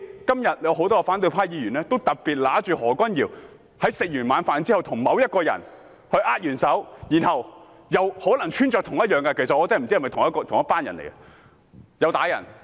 今天有很多反對派議員指出，何君堯議員在晚膳後與某人握手，而該人的衣着可能與毆打市民的人士一樣。